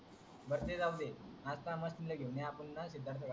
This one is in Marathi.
बर ते जाऊदे आता मशिनी ला घेऊन ये आपण सिद्धांतच